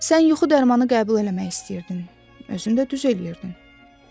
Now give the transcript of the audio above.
Sən yuxu dərmanı qəbul eləmək istəyirdin, əslində düz eləyirdin.